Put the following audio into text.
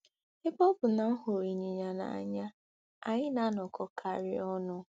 Ebe ọ bụ na m hụrụ ịnyịnya n'anya, anyị na-anọkọkarị ọnụ.